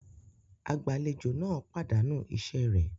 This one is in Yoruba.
Agbàlejò náà pàdánù iṣẹ rẹ̀